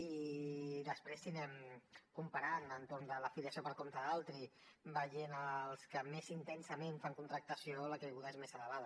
i després si anem comparant entorn de la filiació per compte d’altri veient els que més intensament fan contractació la caiguda és més elevada